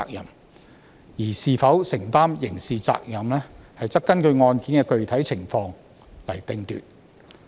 然而，是否承擔刑事責任，須根據案件的具體情況決定。